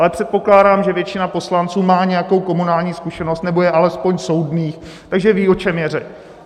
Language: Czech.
Ale předpokládám, že většina poslanců má nějakou komunální zkušenost nebo je alespoň soudných, takže ví, o čem je řeč.